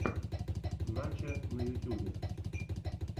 начо на ютюбе